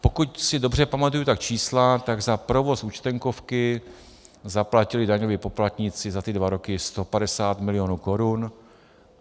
Pokud si dobře pamatuju ta čísla, tak za provoz Účtenkovky zaplatili daňoví poplatníci za ty dva roky 150 milionů korun.